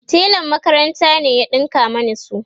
telan makaranta ne ya ɗinka Mani su